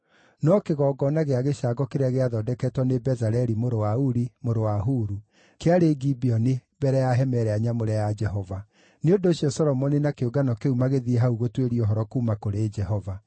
No kĩgongona gĩa gĩcango kĩrĩa gĩathondeketwo nĩ Bezaleli mũrũ wa Uri, mũrũ wa Huru, kĩarĩ Gibeoni mbere ya hema ĩrĩa nyamũre ya Jehova; nĩ ũndũ ũcio Solomoni na kĩũngano kĩu magĩthiĩ hau gũtuĩria ũhoro kuuma kũrĩ Jehova.